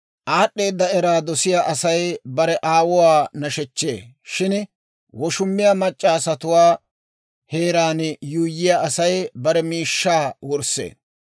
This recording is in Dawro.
Aad'd'eeda eraa dosiyaa Asay bare aawuwaa nashechchee; shin woshummiyaa mac'c'a asatuwaa heeraan yuuyyiyaa Asay bare miishshaa wurssee.